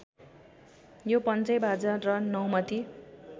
यो पन्चैबाजा र नौमती